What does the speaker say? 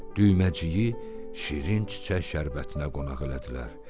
Düyməciyi şirin çiçək şərbətinə qonaq elədilər.